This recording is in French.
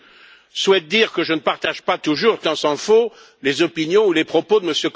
Je souhaite dire que je ne partage pas toujours, tant s'en faut, les opinions ou les propos de M.